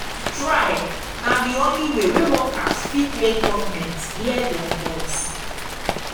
strike na di only way workers fit make government hear dem voice.